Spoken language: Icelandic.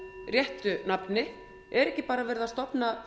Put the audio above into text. réttu nafni er ekki verið að stofna